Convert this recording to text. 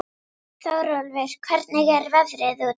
Þórólfur, hvernig er veðrið úti?